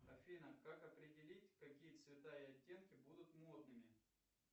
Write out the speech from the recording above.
афина как определить какие цвета и оттенки будут модными